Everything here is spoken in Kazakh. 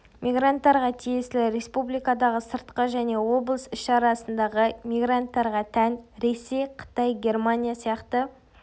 мигранттарға тиесілі республикадағы сыртқы және облыс іші арасындағы мигранттарға тән ресей қытай германия сияқты